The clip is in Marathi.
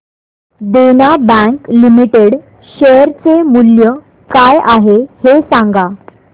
देना बँक लिमिटेड शेअर चे मूल्य काय आहे हे सांगा